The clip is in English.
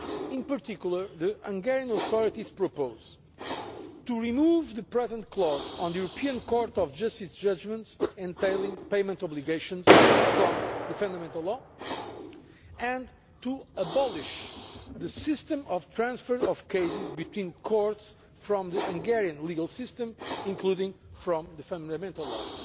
In particular, the Hungarian authorities propose to remove the current clause on the European Court of Justice's judgments entailing payment obligations from the Fundamental Law and to eliminate the system of transferring cases between courts from the Hungarian legal system, including from the Fundamental Law.